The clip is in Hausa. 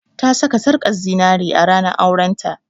Ta saka sarƙar zinari a ranar auren ta